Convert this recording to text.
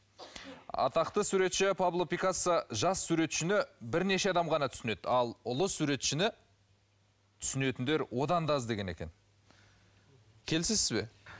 атақты суретші пабло пикассо жас суретшіні бірнеше адам ғана түсінеді ал ұлы суретшіні түсінетіндер одан да аз деген екен келісесіз бе